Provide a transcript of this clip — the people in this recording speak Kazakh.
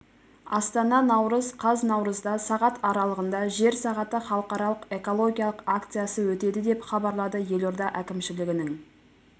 астана наурыз қаз наурызда сағат аралығында жер сағаты халықаралық экологиялық акциясы өтеді деп хабарлады елорда әкімшілігінің